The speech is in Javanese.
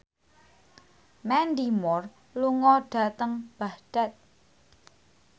Mandy Moore lunga dhateng Baghdad